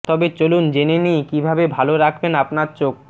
তবে চলুন জেনে নিই কীভাবে ভালো রাখবেন আপনার চোখ